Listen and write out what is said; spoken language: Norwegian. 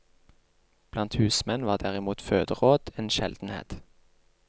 Blant husmenn var derimot føderåd en sjeldenhet.